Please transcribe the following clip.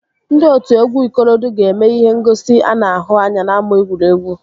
Ndị otu egwu ikorodu ga-eme ihe ngosi ana ahụ anya n'ámá egwuregwu